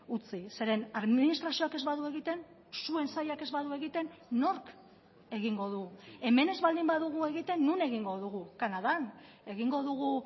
utzi zeren administrazioak ez badu egiten zuen sailak ez badu egiten nork egingo du hemen ez baldin badugu egiten non egingo dugu kanadan egingo dugu